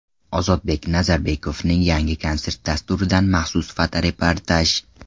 Ozodbek Nazarbekovning yangi konsert dasturidan maxsus fotoreportaj.